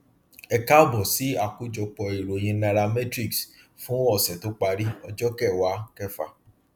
ẹ káàbọ sí àkójọpọ ìròyìn nairametrics fún ọsẹ tó parí ọjọ kẹwàá kẹfà